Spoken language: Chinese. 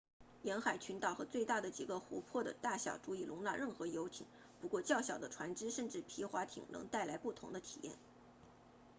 沿海群岛和最大的几个湖泊的大小足以容纳任何游艇不过较小的船只甚至皮划艇能带来不同的体验